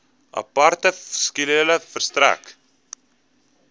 aparte skedule verstrek